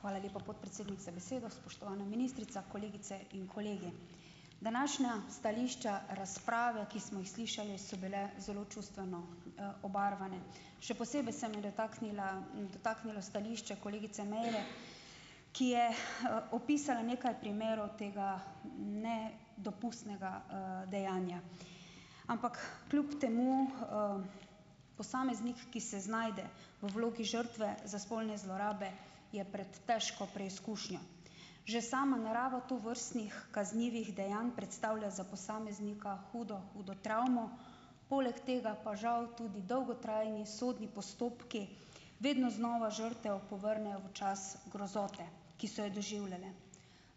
Hvala lepa, podpredsednik za besedo. Spoštovana ministrica, kolegice in kolegi. Današnja stališča razprave, ki smo jih slišali, so bile zelo čustveno, obarvane. Še posebej se me je dotaknila, dotaknilo stališče kolegice Meire , ki je, opisala nekaj primerov tega ne dopustnega, dejanja. Ampak kljub temu, posameznik, ki se znajde v vlogi žrtve za spolne zlorabe, je prej težko preizkušnjo. Že sama narava tovrstnih kaznivih dejanj predstavlja za posameznika hudo, hudo travmo, poleg tega pa žal tudi dolgotrajni sodni postopki, vedno znova žrtev povrnejo v čas grozote, ki so jo doživljale.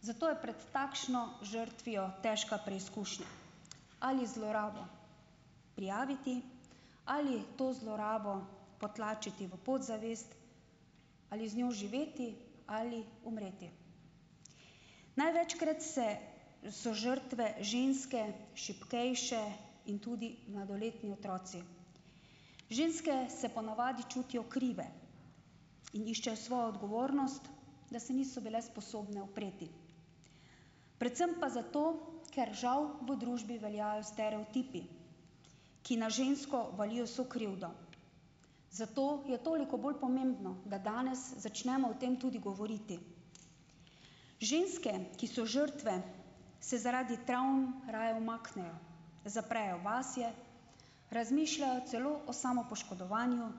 Zato je prej takšno žrtvijo težka preizkušnja . Ali zlorabo prijaviti ali to zlorabo potlačiti v podzavest, ali z njo živeti ali umreti. Največkrat so žrtve ženske, šibkejše, in tudi mladoletni otroci. Ženske se ponavadi čutijo krive. Iščejo svojo odgovornost, da se niso bile sposobne upreti. Predvsem pa zato, ker žal v družbi veljajo stereotipi, ki na žensko valijo sokrivdo. Zato je toliko bolj pomembno, da danes začnemo o tem tudi govoriti. Ženske, ki so žrtve, se zaradi travm raje umaknejo. Zaprejo vase, razmišljajo celo o samopoškodovanju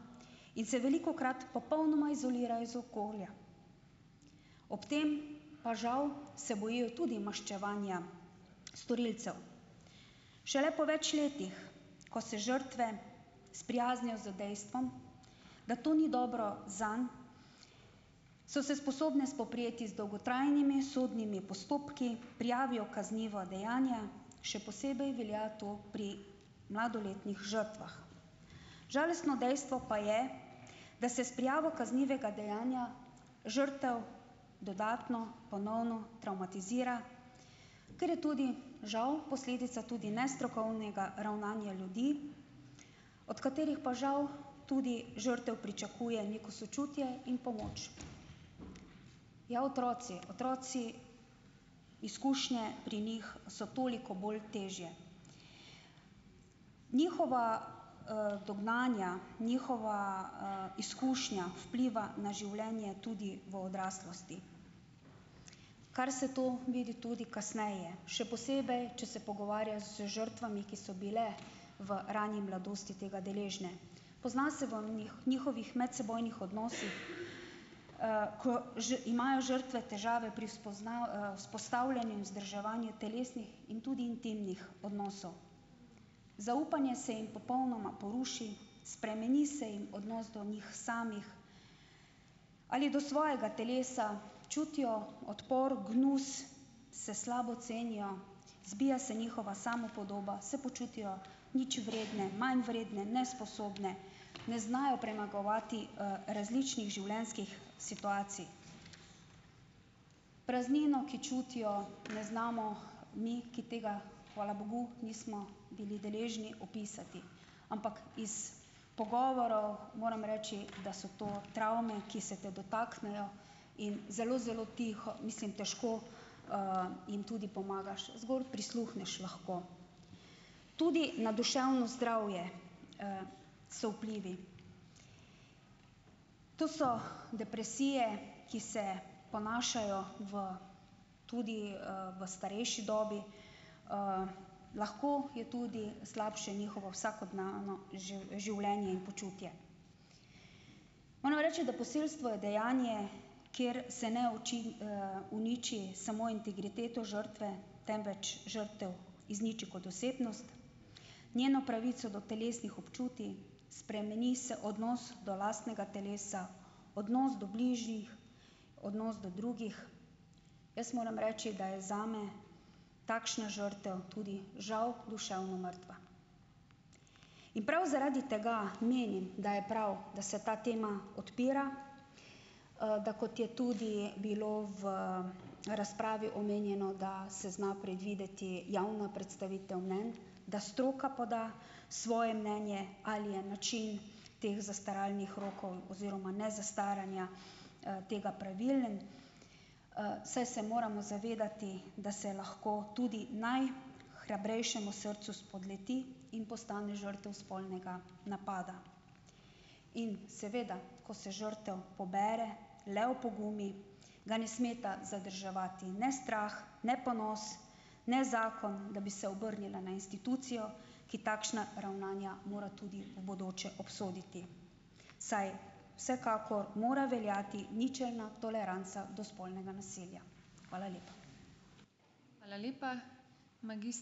in se velikokrat popolnoma izolirajo iz okolja. Ob tem pa žal se bojijo tudi maščevanja storilcev. Šele po več letih, ko se žrtve sprijaznijo z dejstvom, da to ni dobro zanj, so se sposobne spoprijeti z dolgotrajnimi sodnimi postopki, prijavijo kaznivo dejanje, še posebej velja to pri mladoletnih žrtvah. Žalostno dejstvo pa je, da se s prijavo kaznivega dejanja žrtev dodatno, ponovno travmatizira, ker je tudi, žal posledica tudi nestrokovnega ravnanja ljudi, od katerih pa žal tudi žrtev pričakuje neko sočutje in pomoč. Ja, otroci. Otroci, izkušnje pri njih so toliko bolj težje. Njihova, dognanja, njihova, izkušnja vpliva na življenje tudi v odraslosti, kar se to vidi tudi kasneje. Še posebej, če se pogovarjaš z žrtvami, ki so bile v rani mladosti tega deležne. Pozna se v njihovih medsebojnih odnosih , ko imajo žrtve težave pri vzpostavljanju in vzdrževanju telesnih in tudi intimnih odnosov. Zaupanje se jim popolnoma poruši, spremeni se jim odnos do njih samih, ali do svojega telesa, čutijo odpor, gnus, se slabo cenijo, zbija se njihova samopodoba, se počutijo ničvredne , manjvredne, nesposobne, ne znajo premagovati, različnih življenjskih situacij. Praznino, ki čutijo, ne znamo mi, ki tega, hvala bogu, nismo bili deležni, opisati. Ampak iz pogovorov moram reči, da so to travme, ki se te dotaknejo, in zelo, zelo tiho, mislim težko, jim tudi pomagaš, zgolj prisluhneš lahko. Tudi na duševno zdravje, so vplivi. To so depresije, ki se ponašajo v, tudi, v starejši dobi. lahko je tudi slabše njihovo vsakodnevno življenje in počutje. Moram reči, da posilstvo je dejanje, kjer se ne uniči samo integriteto žrtve, temveč žrtev izniči kot osebnost. Njeno pravico do telesnih občutij, spremeni se odnos do lastnega telesa, odnos do bližnjih, odnos do drugih. Jaz moram reči, da je zame takšna žrtev tudi, žal, duševno mrtva. In prav zaradi tega menim, da je prav, da se ta tema odpira, da kot je tudi bilo v razpravi omenjeno, da se zna predvideti javna predstavitev mnenj, da stroka poda svoje mnenje ali je način teh zastaralnih rokov oziroma nezastaranja, tega pravilen. saj se moramo zavedati, da se je lahko tudi naj hrabrejšemu srcu spodleti in postane žrtev spolnega napada. In, seveda, ko se žrtev pobere, le opogumi, ga ne smeta zadrževati ne strah, ne ponos, ne zakon, da bi se obrnila na institucijo, ki takšna ravnanja mora tudi v bodoče obsoditi. Saj vsekakor mora veljati ničelna toleranca do spolnega nasilja. Hvala lepa.